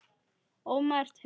ómerkt lausn